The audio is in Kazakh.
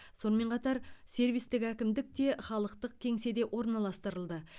сонымен қатар сервистік әкімдік те халықтық кеңседе орналастырылды